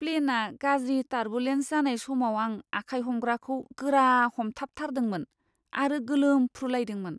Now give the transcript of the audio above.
प्लेनआ गाज्रि टारबुलेन्स जानाय समाव आं आखाइ हमग्राखौ गोरा हमथाबथारदोंमोन आरो गोलोमफ्रुलायदोंमोन।